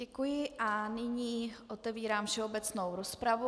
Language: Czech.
Děkuji a nyní otevírám všeobecnou rozpravu.